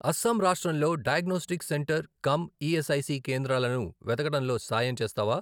అస్సాం రాష్ట్రంలో diagnostic centre cum ESIC కేంద్రాలను వెతకడంలో సాయం చేస్తావా?